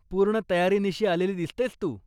पूर्ण तयारीनिशी आलेली दिसतेयस तू.